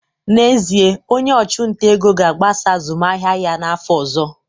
N'ezie, onye ọchụnta ego ga-agbasa azụmahịa ya n'afọ ọzọ